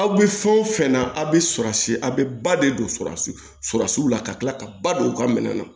Aw bɛ fɛn o fɛn na a bɛ a bɛ ba de don la ka tila ka ba don u ka minɛn na